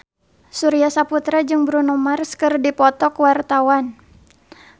Surya Saputra jeung Bruno Mars keur dipoto ku wartawan